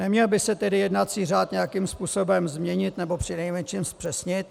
Neměl by se tedy jednací řád nějakým způsobem změnit nebo přinejmenším zpřesnit?